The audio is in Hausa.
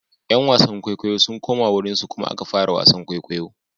’Yan wasan kwaikwayo sun koma wurinsu kuma aka fara wasan kwaikwayo.